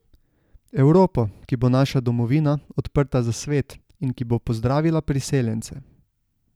Evropo, ki bo naša domovina, odprta za svet, in ki bo pozdravila priseljence.